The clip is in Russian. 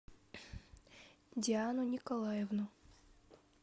диану николаевну